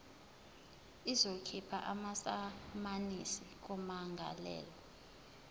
izokhipha amasamanisi kummangalelwa